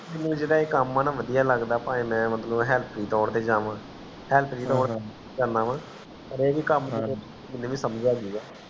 ਮੈਨੂੰ ਜੇੜ੍ਹਾ ਇਹ ਕਾਮ ਹੈ ਬਦਿਆਂ ਲਗਦਾ ਪਾਏ ਮੈਂ ਪਾਵੇ Help ਤੌਰ ਤੇ ਜਾਵਾਂ help